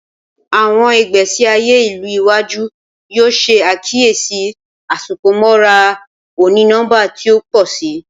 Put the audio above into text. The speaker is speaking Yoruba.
Awọn igbesi aye ilu iwaju yoo ṣe akiyesi Asopọmọra oni-nọmba ti o pọ si.